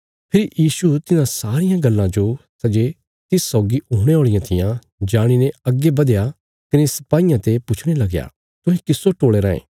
फेरी यीशु तिन्हां सारियां गल्लां जो सै जे तिस सौगी हुणे औल़ियां थिआं जाणीने अग्गे बधया कने सिपाईयां ते पुच्छणे लगया तुहें किस्सो टोले रायें